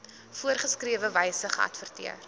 voorgeskrewe wyse geadverteer